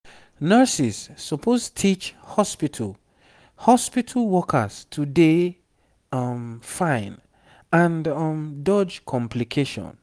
nurses suppose teach hospitu hospitu workers to dey um fine and um dodge complication